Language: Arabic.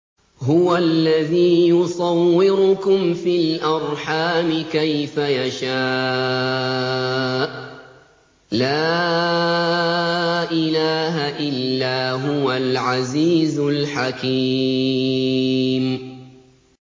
هُوَ الَّذِي يُصَوِّرُكُمْ فِي الْأَرْحَامِ كَيْفَ يَشَاءُ ۚ لَا إِلَٰهَ إِلَّا هُوَ الْعَزِيزُ الْحَكِيمُ